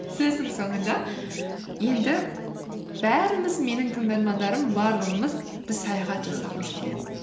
сөздің соңында енді бәріміз менің тыңдармандарым барлығымыз біз саяхат жасағымыз келеді